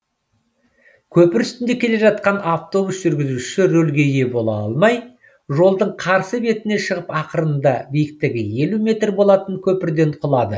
көпір үстінде келе жатқан авобус жүргізушісі рөлге ие бола алмай жолдың қарсы бетіне шығып ақырында биіктігі елу метр болатын көпірден құлады